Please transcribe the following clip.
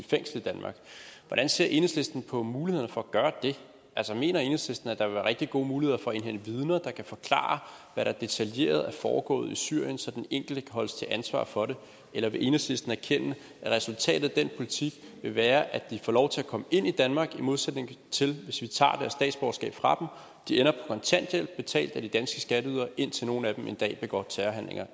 i fængsel i danmark hvordan ser enhedslisten på mulighederne for at gøre det altså mener enhedslisten at der vil være rigtig gode muligheder for at indhente vidner der kan forklare hvad der detaljeret er foregået i syrien så den enkelte kan holdes til ansvar for det eller vil enhedslisten erkende at resultatet af den politik vil være at de får lov til at komme ind i danmark i modsætning til hvis vi tager deres statsborgerskab fra dem de ender på kontanthjælp betalt af de danske skatteydere indtil nogle af dem en dag begår terrorhandlinger